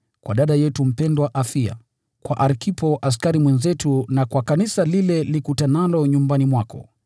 kwa dada yetu mpendwa Afia, kwa Arkipo askari mwenzetu na kwa kanisa lile likutanalo nyumbani mwako: